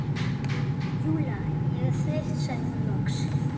Júlía, ég er þreytt sagði hún loks.